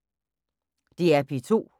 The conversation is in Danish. DR P2